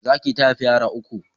Zaki ta haifa yara uku